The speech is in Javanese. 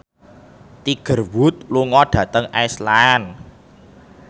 Tiger Wood lunga dhateng Iceland